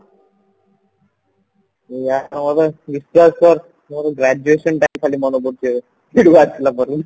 ବିଶ୍ଵାସ କର ମୋର graduation time ଖାଲି ମନେ ପଡୁଛି ଏବେ ଆସିଲା ପରେ